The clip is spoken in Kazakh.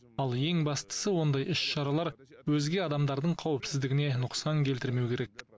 ал ең бастысы ондай іс шаралар өзге адамдардың қауіпсіздігіне нұқсан келтірмеу керек